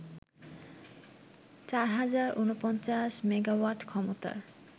৪০৪৯ megawatt ক্ষমতার